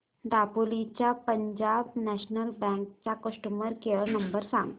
दापोली च्या Punjab National Bank चा customer care number सांग